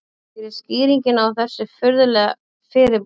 Hver er skýringin á þessu furðulega fyrirbæri?